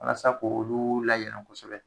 Walasa ko olu layɛlɛ kosɛbɛ